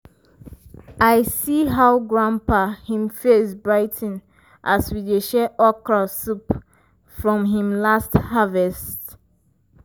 i see how grandpa him face brigh ten as we dey share okra soup from him last harvest.